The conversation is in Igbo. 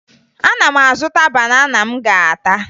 Ana m azụta banana m ga-ata